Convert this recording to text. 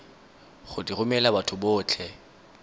go di romela batho botlhe